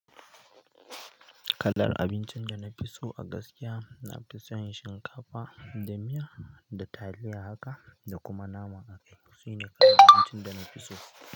Kalar abincin da na fi so a gaskiya na fi son shinkafa da miya da taliya haka da kuma nama a akaye. Su ne kalan abincin da na fi so.